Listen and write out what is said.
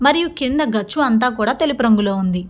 మరియు కింద గచ్చు అంత కూడా తెలుపు రంగులో ఉంది.